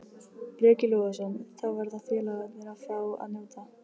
Breki Logason: Þá verða félagarnir að fá að njóta?